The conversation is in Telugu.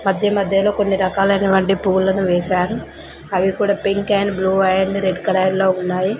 మధ్య మధ్యలో కొన్ని రకాలైన వంటి పూలను వేశారు అవి కూడా pink and blue and red colour లో ఉన్నాయి.